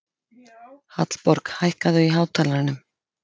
Hallborg, hækkaðu í hátalaranum.